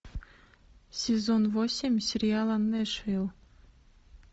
сезон восемь сериала нэшвилл